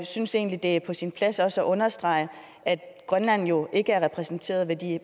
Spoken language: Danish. synes egentlig det er på sin plads også at understrege at grønland jo ikke er repræsenteret i